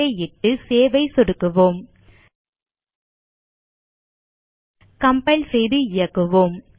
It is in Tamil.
ஐ இட்டு சேவ் ஐ சொடுக்குவோம் கம்பைல் செய்து இயக்குவோம்